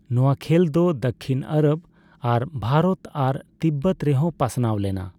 ᱱᱚᱣᱟ ᱠᱷᱮᱹᱞ ᱫᱚ ᱫᱚᱠᱠᱷᱤᱱ ᱟᱨᱚᱵᱽ ᱟᱨ ᱵᱷᱟᱨᱚᱛ ᱟᱨ ᱛᱤᱵᱽᱵᱚᱛ ᱨᱮᱦᱚ ᱯᱟᱥᱱᱟᱣ ᱞᱮᱱᱟ ᱾